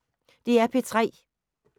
DR P3